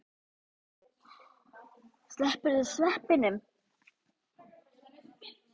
Slepptirðu sveppunum?